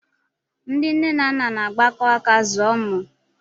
Ndị nne na nna na-agbakọ aka zụọ ụmụ